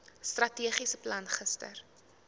strategiese plan gister